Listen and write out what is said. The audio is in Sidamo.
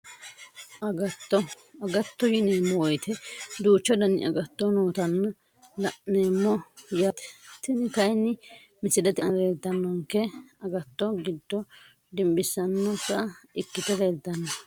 Agatto agatto yineemo woyite duuchu dani agato nootanna lan`eemo yaate tini kayini misilete aana leeltanonke agato giddo dinbisanota ikite leeltano.